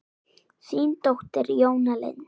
Þín dóttir, Jóna Lind.